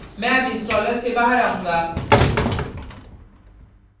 मैं अब installer से बाहर आऊँगा